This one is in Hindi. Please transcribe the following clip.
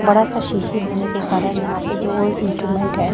बड़ा सा सीसी होने के कारण यहां पे जो इस्टूमेंट है।